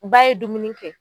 Ba ye dumuni kɛ